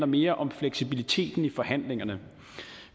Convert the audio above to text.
mere om fleksibiliteten i forhandlingerne